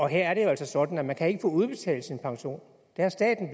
her er det jo altså sådan at man ikke kan få udbetalt sin pension det har staten